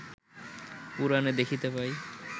পুরাণে দেখিতে পাই